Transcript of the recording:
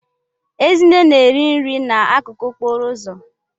Ezinne na-ere unere n'akụkụ okporo ụzọ.